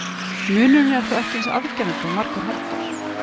Munurinn er þó ekki eins afgerandi og margur heldur.